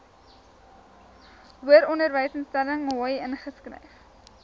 hoëronderwysinstelling hoi ingeskryf